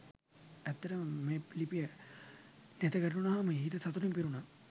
ඇත්තටම මේ ලිපිය නෙතගැටුණාහම හිත සතුටින් පිරුණා